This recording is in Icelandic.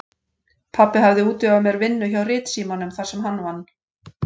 Pabbi hafði útvegað mér vinnu hjá Ritsímanum þar sem hann vann.